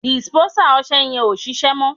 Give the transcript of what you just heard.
dìsìpénsá ọsẹ yen o ṣíṣe mo